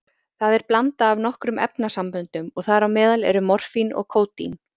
Það er blanda af nokkrum efnasamböndum og þar á meðal eru morfín og kódín.